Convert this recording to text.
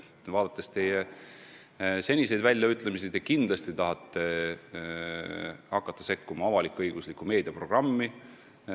Arvestades teie seniseid väljaütlemisi, võib järeldada, et te kindlasti tahate ka hakata sekkuma avalik-õigusliku meedia programmi.